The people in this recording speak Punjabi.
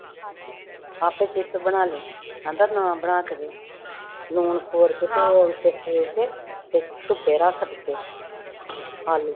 ਆਪੇ ਚਿਪਸ ਬਣਾ ਲਈ, ਕਹਿੰਦਾ ਨਾ ਬਣਾ ਕੇ ਦੇ, ਲੂਣ ਖੋਰ ਕੇ ਤੇ ਉਹਦੇ ਤੇ ਧੁੱਪੇ ਰੱਖ ਦਿੱਤੇ ਆਲੂ